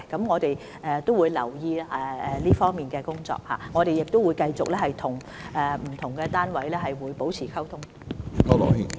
我們會繼續留意這方面的工作，並與不同單位保持溝通。